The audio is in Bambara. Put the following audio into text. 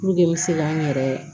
Puruke n bɛ se ka n yɛrɛ